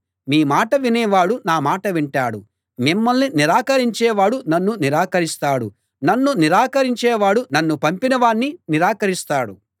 మీ మాట వినే వాడు నా మాటా వింటాడు మిమ్మల్ని నిరాకరించే వాడు నన్నూ నిరాకరిస్తాడు నన్ను నిరాకరించేవాడు నన్ను పంపిన వాణ్ణి నిరాకరిస్తాడు